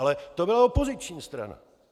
Ale to byla opoziční strana.